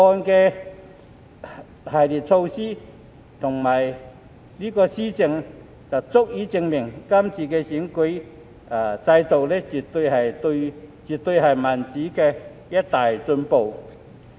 《條例草案》的一系列措施足以證明，今次經完善的選舉制度絕對是民主的一大進步。